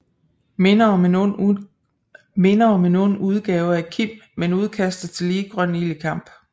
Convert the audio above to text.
Minder om en ond udgave af Kim men udkaster tillige grøn ild i kamp